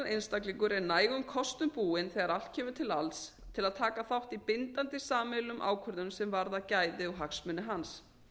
einstaklingur er nægum kostum búinn þegar allt kemur til alls til að taka þátt í bindandi sameiginlegum ákvörðunum sem varða gæði og hagsmuni hans